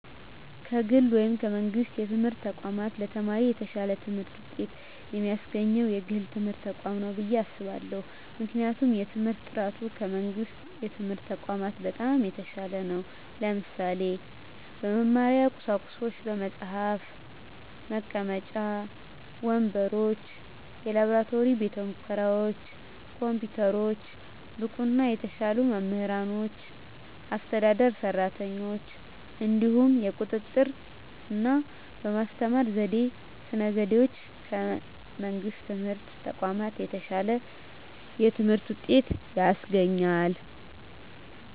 ከግል ወይም ከመንግሥት የትምህርት ተቋማት ለተማሪ የተሻለ ትምህርት ውጤት የሚያስገኘው የግል ትምህርት ተቋማት ነው ብየ አስባለሁ ምክንያቱም የትምህርት በጥራቱ ከመንግስት የትምህርት ተቋማት በጣም የተሻለ ነው ለምሳሌ - በመማሪያ ቁሳቁሶች በመፅሀፍ፣ መቀመጫ ወንበሮች፣ የላብራቶሪ ቤተሙከራዎች፣ ኮምፒውተሮች፣ ብቁና የተሻሉ መምህራኖችና አስተዳደር ሰራተኞች፣ እንዲሁም የቁጥጥ ርና በማስተማር ስነ ዘዴዎች ከመንግስት የትምህርት ተቋማት የተሻለ የትምህርት ውጤት ያስገኛል።